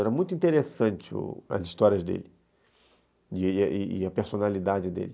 Era muito interessante u as histórias dele e a personalidade dele.